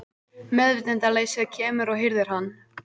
Meðvitundarleysið kemur og hirðir hann.